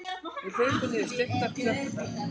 Við hlaupum niður steyptar tröppurnar.